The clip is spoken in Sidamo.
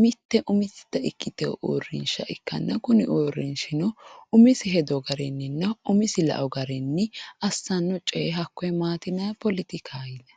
mite umisetta ikkitino uurrinsha ikkanna kuni uurrinshino umise hedo garininna umise lao garinni assano coye hakkone maati yinanni poletikaho yinanni.